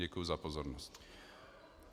Děkuji za pozornost.